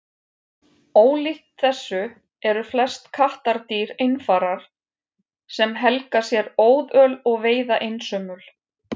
Ólíkt þessu eru flest kattardýr einfarar sem helga sér óðöl og veiða einsömul.